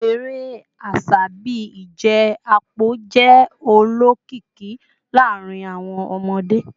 Awọn ere aṣa bii ije apo jẹ olokiki laarin awọn ọmọde